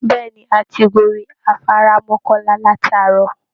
Bẹ́ẹ̀ ni, a ti gorí afárá mọkọ́lá láti àárọ̀